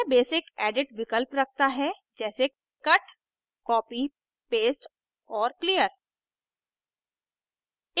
यह basic edit विकल्प रखता है जैसे cut copy paste और clear